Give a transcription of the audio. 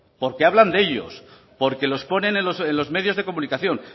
porque hablan de ellos porque los ponen en los medios de comunicación